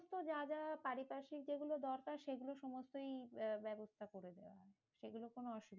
তো যা যা পারিপার্শিক যেগুলো দরকার সেগুলো সমস্তই ব্য~ ব্যবস্থা করে দিতে হবে সেগুলো কোনো অসুবিধা